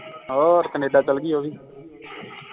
ਹੋਰ ਕੈਨੇਡਾ ਚੱਲ ਗਈ ਉਹ ਵੀ